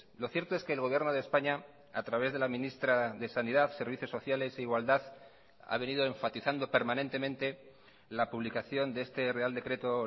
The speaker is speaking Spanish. lo cierto es que el gobierno de españa a través de la ministra de sanidad servicios sociales e igualdad ha venido enfatizando permanentemente la publicación de este real decreto